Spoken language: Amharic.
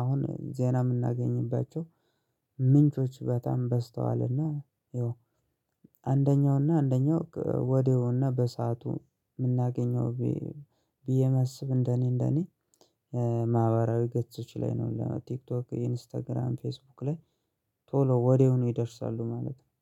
አሁን ዜና የምናገኝባቸው ምንጮች በጣም በዝተዋልና። ይው አንደኛውና አንደኛው ወዲያውና በሰአቱ የምናገኘው ብዬ ማስብ እንደኔ እንደኔ። ማህበራዊ ገጾች ላይ ነው ለቲክቶክ ኢንስታግራም ፌስቡክ ላይ ቶሎ ወዲያው ነው ይደርሳሉ ማለት ነው